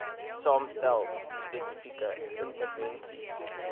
saamstel spesifieke intervensies